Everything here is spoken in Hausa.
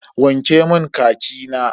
Wanke mun khaki na.